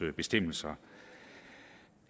bestemmelser